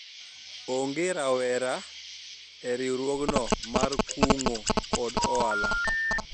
onge rawera e riwruogno mar kungo kod hola